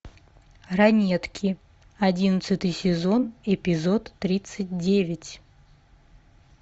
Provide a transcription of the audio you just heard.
ранетки одиннадцатый сезон эпизод тридцать девять